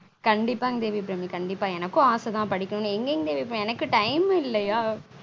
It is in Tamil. கண்டீப்பாங்க தேவி அபிராமி கண்டீப்பா எனக்கும் ஆசை தான் படிக்கனும் எங்க இங்க இருக்க எனக்கும் time இல்லயா